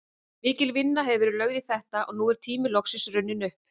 Mikil vinna hefur verið lögð í þetta og nú er tíminn loksins runninn upp.